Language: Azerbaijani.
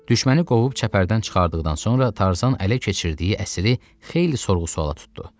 Düşməni qovub çəpərdən çıxartdıqdan sonra Tarzan ələ keçirdiyi əsiri xeyli sorğu-sualla tutdu.